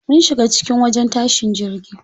Mun shiga cikin wajen tashin jirgi.